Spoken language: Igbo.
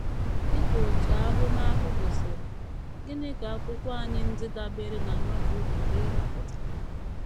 Dị ka otu ahụmahụ gosiri, gịnị ka akwụkwọ anyị ndị dabeere na Novel pụrụ ịrụpụta?